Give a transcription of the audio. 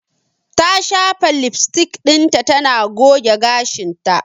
Ta shafa lipstick dinta tana goge gashinta.